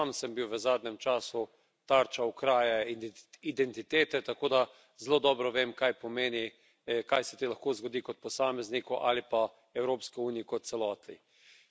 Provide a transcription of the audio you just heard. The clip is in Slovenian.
Tudi sam sem bil v zadnjem času tarča kraje identitete, tako da zelo dobro vem, kaj pomeni, kaj se ti lahko zgodi kot posamezniku ali pa Evropski uniji kot celoti.